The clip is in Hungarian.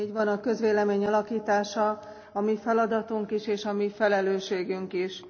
Valóban így van, a közvélemény alakítása a mi feladatunk is, és a mi felelősségünk is.